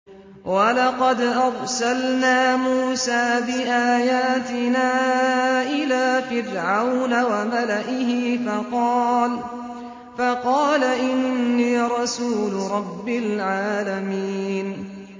وَلَقَدْ أَرْسَلْنَا مُوسَىٰ بِآيَاتِنَا إِلَىٰ فِرْعَوْنَ وَمَلَئِهِ فَقَالَ إِنِّي رَسُولُ رَبِّ الْعَالَمِينَ